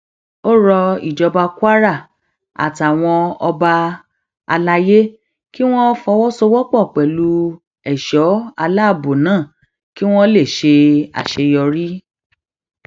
ó rọ ìjọba kwara àtàwọn ọba alayé kí wọn fọwọsowọpọ pẹlú ẹṣọ aláàbọ náà kí wọn lè ṣe àṣeyọrí